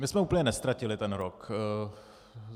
My jsme úplně neztratili ten rok.